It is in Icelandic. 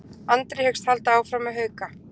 Andri hyggst halda áfram með Hauka